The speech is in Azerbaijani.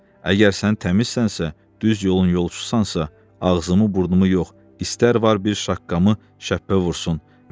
Əgər sən təmizsənsə, düz yolun yolçusansansa, ağzımı burnumu yox, istər var bir şaqqamı şəppə vursun.